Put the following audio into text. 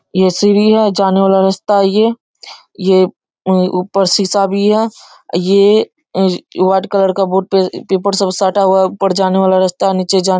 ये सीढ़ी है जाने वाला रास्ता है ये ये ये ऊपर शीशा सब है। ये व्हाइट कलर का बोर्ड पे ये उपर जाने का रास्ता है। नीचे जाने --